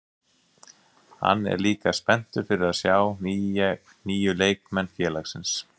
Hann er líka spenntur fyrir að sjá nýju leikmenn félagsins.